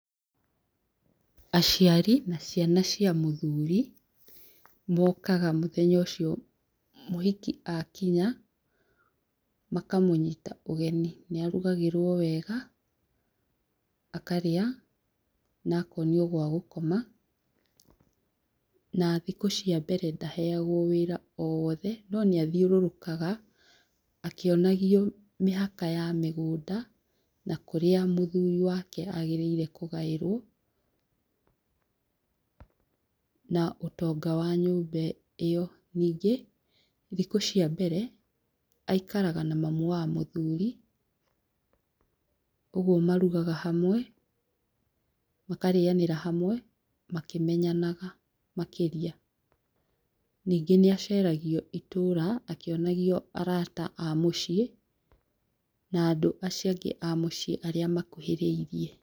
Aciari na ciana cia mũthuri, mokaga mũthenya ũcio mũhiki akinya, makamũnyita ũgeni nĩ arugagĩrwo wega akarĩa na akonio gwa gũkoma na thikũ cia mbere ndaheagwo wĩra o wothe no nĩ athiũrũrũkaga akĩonagio mĩhaka ya mũgũnda na kũrĩa mũthuri wake agĩrĩirwo kũgaĩrwo na ũtonga wa nyũmba ĩyo, ningĩ thikũ cia mbere aikaraga na mamu wa mũthuri ũguo marugaga hamwe, makarĩanĩra hamwe makĩmenyanaga makĩria, ningĩ nĩ aceragio itũũra akĩonagio arata a mũciĩ na andũ acio angĩ a mũciĩ arĩa makuhĩrĩirie.